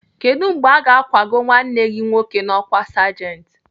Kedụ mgbe aga akwago nwanne gị nwoke n'ọkwá sergent?